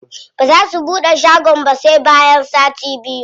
Baza su buɗe shagon ba sai bayan sati biyu.